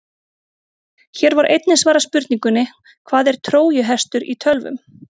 Hér var einnig svarað spurningunni: Hvað er trójuhestur í tölvum?